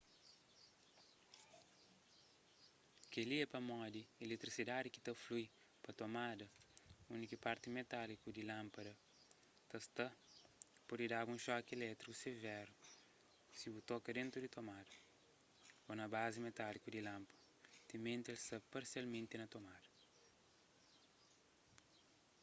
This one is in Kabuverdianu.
kel-li é pamodi iletrisidadi ki ta flui pa tomada undi ki parti metáliku di lánpada ta sta pode da-bu un xoki ilétriku severu si bu toka dentu di tomada ô na bazi metáliku di lánpada timenti el sta parsialmenti na tomada